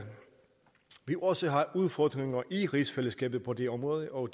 vi også har udfordringer i rigsfællesskabet på det område og